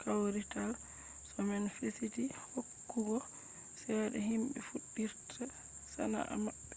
kawrital sho man fasiti hokkugo cede himɓe fuɗɗirta sana’a maɓɓe